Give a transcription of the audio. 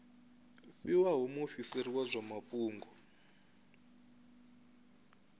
fhiwaho muofisiri wa zwa mafhungo